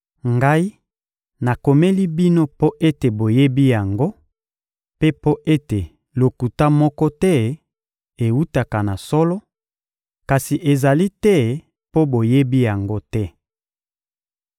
Ngai nakomeli bino mpo ete boyebi yango mpe mpo ete lokuta moko te ewutaka na solo; kasi ezali te mpo boyebi yango te.